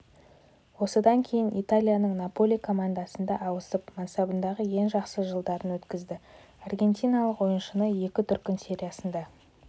осыдан кейін италияның наполи командасында ауысып мансабындағы ең жақсы жылдарын өткізді аргентиналық ойыншы екі дүркін сериясында